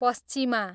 पस्चिमा